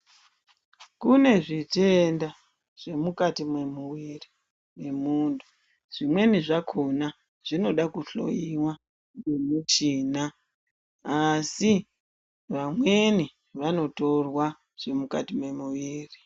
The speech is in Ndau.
Kune zvitenda zvemukati mwemuwiri wemuntu, zvimweni zvakona zvinoda kuhloyiwa ngemuchina asi vamweni vanotorwa zvemukati mwemuviri.